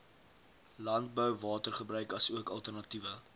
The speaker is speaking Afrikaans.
landbouwatergebruik asook alternatiewe